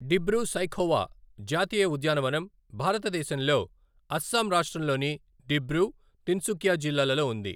డిబ్రూ సైఖోవా జాతీయ ఉద్యానవనం భారతదేశంలో అస్సాం రాష్ట్రంలోని డిబ్రూ, తిన్సుకియా జిల్లాలలో ఉంది.